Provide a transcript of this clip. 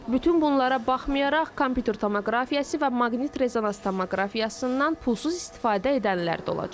Bütün bunlara baxmayaraq, kompüter tomoqrafiyası və maqnit-rezonans tomoqrafiyasından pulsuz istifadə edənlər də olacaq.